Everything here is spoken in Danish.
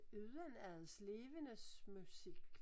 Udenads levendes musik